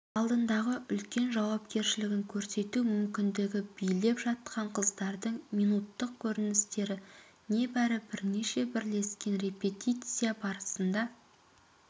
алдындағы үлкен жауапкершілігін көрсету мүмкіндігі билеп жатқан қыздардың минуттық көріністері небәрі бірнеше бірлескен репетиция барысында